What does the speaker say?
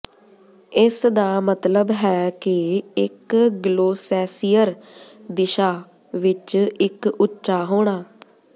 ਇਸਦਾ ਮਤਲਬ ਹੈ ਕਿ ਇੱਕ ਗਲੋਸੈਸਿਅਰ ਦਿਸ਼ਾ ਵਿੱਚ ਇੱਕ ਉੱਚਾ ਹੋਣਾ